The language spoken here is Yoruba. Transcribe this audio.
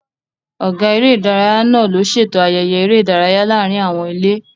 Ọ̀gá eré ìdárayá náà ló ṣètò ayẹyẹ eré ìdárayá láàárín àwọn ilé